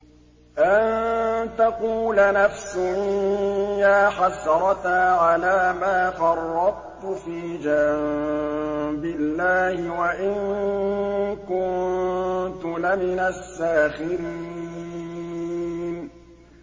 أَن تَقُولَ نَفْسٌ يَا حَسْرَتَا عَلَىٰ مَا فَرَّطتُ فِي جَنبِ اللَّهِ وَإِن كُنتُ لَمِنَ السَّاخِرِينَ